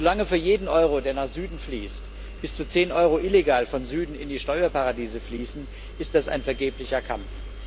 Solange für jeden Euro, der nach Süden fließt, bis zu zehn Euro illegal von Süden in die Steuerparadiese fließen, ist das ein vergeblicher Kampf.